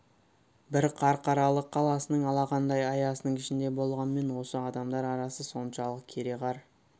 бір қарқаралы қаласының алақандай аясының ішінде болғанмен осы адамдар арасы соншалық кереқар